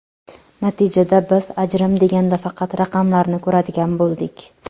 Natijada biz ajrim deganda faqat raqamlarni ko‘radigan bo‘ldik.